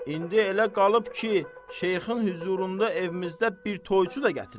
İndi elə qalıb ki, Şeyxin hüzurunda evimizdə bir toyçu da gətirək?